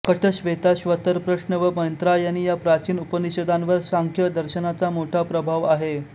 कठश्वेताश्वतर प्रश्न व मैत्रायणी या प्राचीन उपनिषदांवर सांख्य दर्शनाचा मोठा प्रभाव आहे